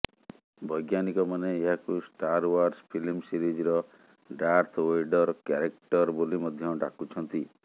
ବୈଜ୍ଞାନିକମାନେ ଏହାକୁ Star Wars film ସିରିଜର ଡାର୍ଥ ଓ୍ୱେଡର୍ କ୍ୟାରେକ୍ଟର ବୋଲି ମଧ୍ୟ ଡାକୁଛନ୍ତି